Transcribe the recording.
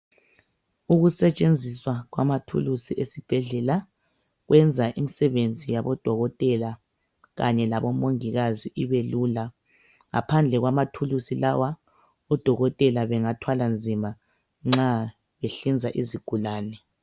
Ukusetshenziswa kwamathulusi esibhedlela kuyenza imisebenzi yabodokotela kanye labo mongikazi ibelula. Ngaphandle kwamathulusi lawa odokotela bengathwala nzima nxa ehlinza izigulane.